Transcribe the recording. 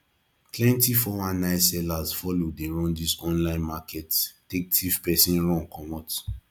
plenti 419 sellers follow dey run dis online market take tiff pesin run comot